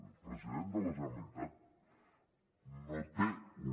el president de la generalitat no té un